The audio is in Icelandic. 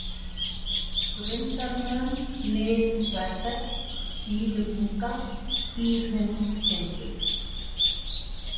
Grundarmön, Mið-Þverfell, Síðubunga, Dýrhundstindur